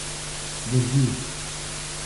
Drži.